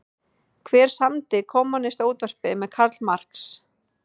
Hver samdi Kommúnistaávarpið með Karl Marx?